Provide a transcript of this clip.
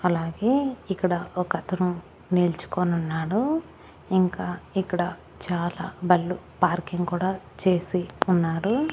అలాగే ఇక్కడ ఒక అతను నిల్చుకొని ఉన్నాడు ఇంకా ఇక్కడ చాలా బళ్ళు పార్కింగ్ కూడా చేసి ఉన్నారు.